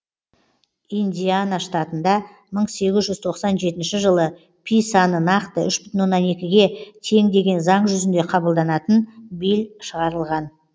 индиана штатында мың сегіз жүз тоқсан жетінші жылы пи саны нақты үш бүтін оннан екіге тең деген заң жүзінде қабылданатын билль шығарылған